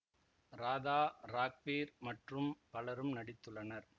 ராதா ராக்வீர் மற்றும் பலரும் நடித்துள்ளனர்